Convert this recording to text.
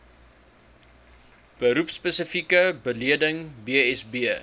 beroepspesifieke bedeling bsb